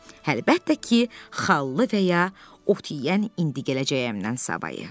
Əlbəttə ki, xallı və ya ot yeyən indi gələcəyəmdən savayı.